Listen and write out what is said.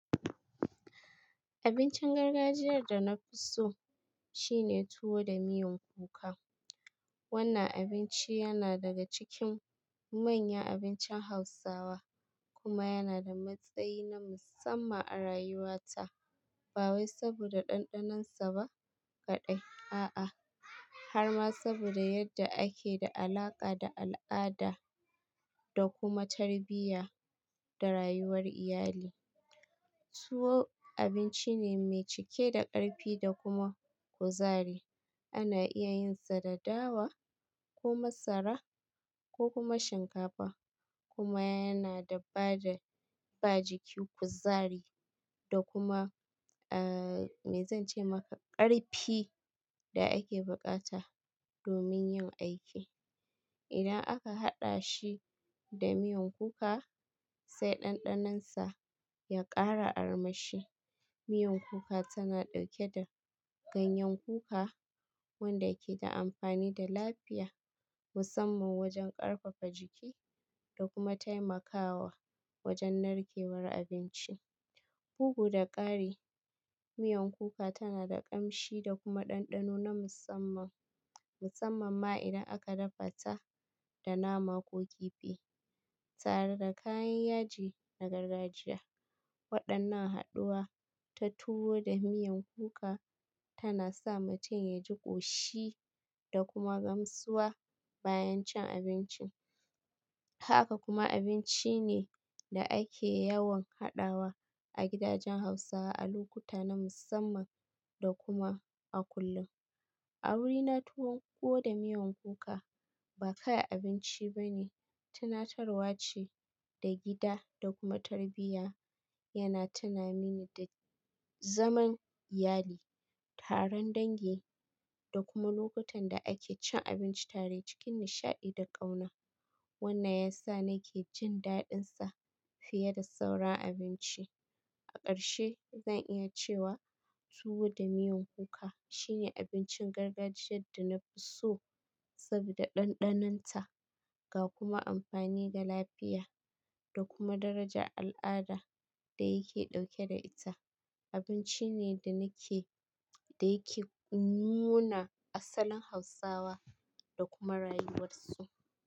Abincin gargajiyar da na fi so shine tuwo da miyan kuka. Wannan abinci yana daga cikin manyan abincin Hausawa kuma yana da matsayi na musamman a rayuwata, ba wai saboda ɗanɗanonsa ba kaɗai, a'a har ma saboda yadda yake da alaƙa da al'ada da kuma tarbiyya da rayuwar iyali. Tuwo abinci ne mai cike da ƙarfi da kuma kuzari. Ana iya yin sa da dawa ko masara ko kuma shinkafa kuma yana ba da bada jiki kuzari da kuma, ee, me zan ce maka ƙarfi da ake buƙata domin yin aiki. Idan aka haɗa shi da miyan kuka, sai ɗanɗanonsa ya ƙara armashi. Miyan kuka tana ɗauke da ganyen kuka wanda yake da amfani da lafiya musamman wajen ƙarfafa jiki da kuma taimakawa wajen narkewar abinci. Bugu da ƙari, miyan kuka tana da ƙamshi da kuma ɗanɗano na musamman, musamman ma idan aka dafa ta da nama ko kifi. Tare da kayan yaji na gargajiya, waɗannan haɗuwa ta tuwo da miyan kuka tana sa mutum ya ji ƙoshi da kuma gamsuwa bayan cin abincin. Haka kuma abinci ne da ake yawan haɗawa a gidajen Hausawa a lokuta na musamman da kuma a kullum. A wurina tuwo da miyan kuka ba kayan abinci bane, tunatarwa ce da gida da kuma tarbiyya yana tuna mini da zaman iyali, taron dangi da kuma lokutan da ake cin abinci tare cikin nishaɗi da ƙauna. Wannan ya sa nake jin daɗinsa fiye da sauran abinci. A ƙarshe, zan iya cewa tuwo da miyan kuka shine abincin gargajiyar da na fi so saboda ɗanɗanonta ga kuma amfani ga lafiya da kuma darajar al'ada da yake ɗauke da ita. Abinci ne da yake nuna asalin Hausawa da kuma rayuwarsu.